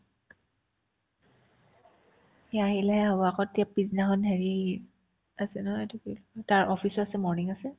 সি আহিলেহে হ'ব আকৌ তেওৰ পিছদিনাখন হেৰি আছে নহয় এইটো কি কই তাৰ office আছে morning আছে